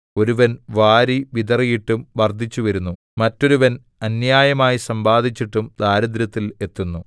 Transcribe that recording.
ഒരുവൻ വാരിവിതറിയിട്ടും വർദ്ധിച്ചുവരുന്നു മറ്റൊരുവൻ അന്യായമായി സമ്പാദിച്ചിട്ടും ദാരിദ്ര്യത്തിൽ എത്തുന്നു